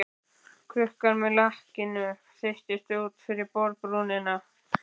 Krukkan með lakkinu þeytist út fyrir borðbrúnina.